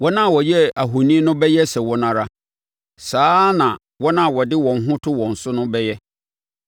Wɔn a wɔyɛɛ ahoni no bɛyɛ sɛ wɔn ara, saa ara na wɔn a wɔde wɔn ho to wɔn so no bɛyɛ.